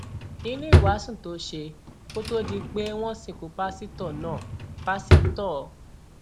nínú ìwàásù tó ṣe kó tóó di pé wọn sìnkú pásítọ náà páṣítọ g